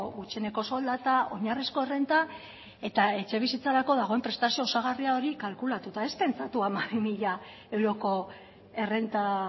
gutxieneko soldata oinarrizko errenta eta etxebizitzarako dagoen prestazio osagarri hori kalkulatuta ez pentsatu hamabi mila euroko errenta